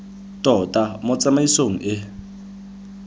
tota mo tsamaisong e e